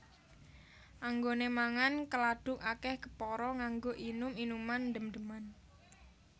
Anggone mangan keladuk akeh kepara nganggo inum inuman ndem ndeman